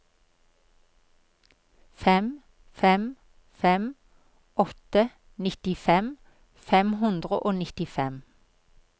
fem fem fem åtte nittifem fem hundre og nittifem